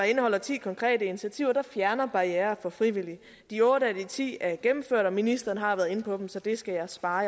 indeholder ti konkrete initiativer der fjerner barrierer for frivillige de otte af de ti er gennemført og ministeren har været inde på dem så det skal jeg spare